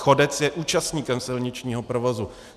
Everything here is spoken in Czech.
Chodec je účastníkem silničního provozu.